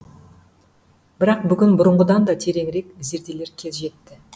бірақ бүгін бұрынғыдан да тереңірек зерделер кез жетті